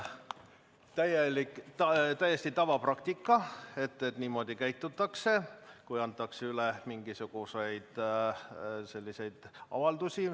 See on täiesti tavaline praktika, et niimoodi käitutakse, kui antakse üle selliseid avaldusi.